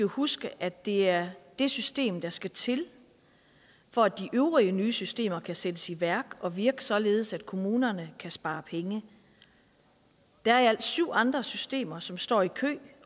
huske at det er det system der skal til for at de øvrige nye systemer kan sættes i værk og virke således at kommunerne kan spare penge der er i alt syv andre systemer som står i kø